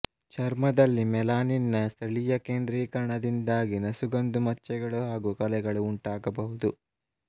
ಚರ್ಮದಲ್ಲಿ ಮೆಲನಿನ್ ನ ಸ್ಥಳಿಯ ಕೇಂದ್ರೀಕರಣದಿಂದಾಗಿ ನಸುಗಂದು ಮಚ್ಚೆಗಳು ಹಾಗು ಕಲೆಗಳು ಉಂಟಾಗಬಹುದು